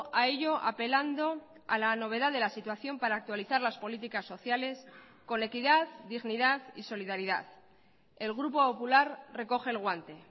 a ello apelando a la novedad de la situación para actualizar las políticas sociales con equidad dignidad y solidaridad el grupo popular recoge el guante